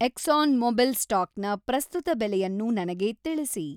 exon Mobil ಸ್ಟಾಕ್‌ನ ಪ್ರಸ್ತುತ ಬೆಲೆಯನ್ನು ನನಗೆ ತಿಳಿಸಿ